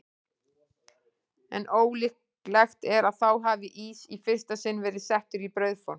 En ólíklegt er að þá hafi ís í fyrsta sinn verið settur í brauðform.